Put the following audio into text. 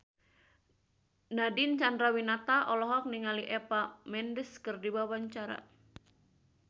Nadine Chandrawinata olohok ningali Eva Mendes keur diwawancara